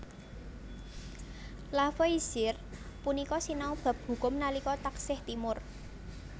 Lavoisier punika sinau bab hukum nalika taksih timur